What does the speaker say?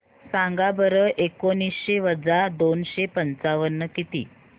सांगा बरं एकोणीसशे वजा दोनशे पंचावन्न किती